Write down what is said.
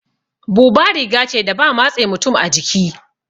Buba riga ce da ba matse mutum a jiki